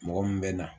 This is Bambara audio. Mɔgɔ min bɛ na